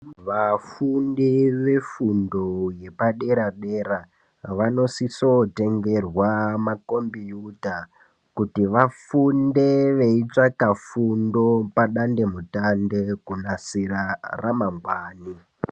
Vafundi vefundo yepadera dera vanosisotengerwa makombiyuta kuti vafunde veitsvaka fundo padandemutande kunasira ramangwani.